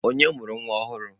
Onye mụrụ nwa ọhụrụ?